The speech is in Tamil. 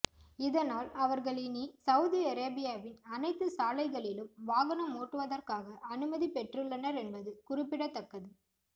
இதனால் அவர்கள் இனி சவுதி அரேபியாவின் அணைத்து சாலைகளிலும் வாகனம் ஓட்டுவதற்காக அனுமதி பெற்றுள்ளனர் என்பது குறிப்பிடத்தக்கது